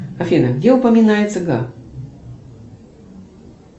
афина где упоминается га